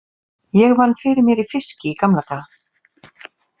Ég vann fyrir mér í fiski í gamla daga.